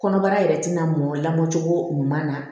Kɔnɔbara yɛrɛ tɛna mɔn lamɔ cogo ɲuman na